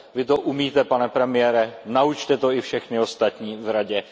Vy to umíte, pane premiére, naučte to i všechny ostatní v Radě.